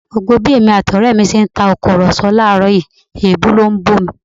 Gbogbo bí èmi àti ọrẹ mi ti ń tàkùrọ̀sọ láàrọ̀ yìí, èébú ló ń bú mi